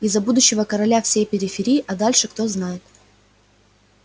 и за будущего короля всей периферии а дальше кто знает